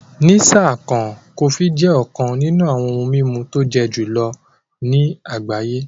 Ní sáà kan, Kòfí jẹ́ ọ̀kàn nínú awọn ohun mimú tó jẹ́ julọ̀ ní agbáyé